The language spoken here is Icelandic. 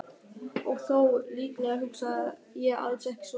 Og þó, líklega hugsaði ég alls ekki svona.